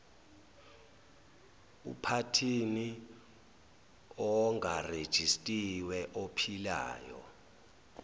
uphathini ongarejistiwe ophilayo